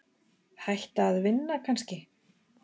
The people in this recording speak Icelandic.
Hætta að vinna kannski?